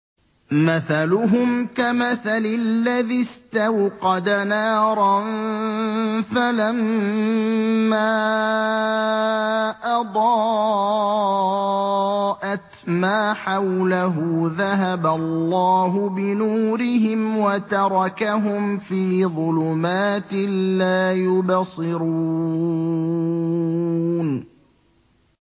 مَثَلُهُمْ كَمَثَلِ الَّذِي اسْتَوْقَدَ نَارًا فَلَمَّا أَضَاءَتْ مَا حَوْلَهُ ذَهَبَ اللَّهُ بِنُورِهِمْ وَتَرَكَهُمْ فِي ظُلُمَاتٍ لَّا يُبْصِرُونَ